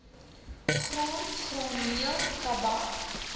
graan graanmeel tabak